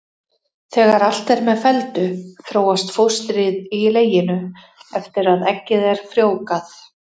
Þegar allt er með felldu þróast fóstrið í leginu eftir að eggið er frjóvgað.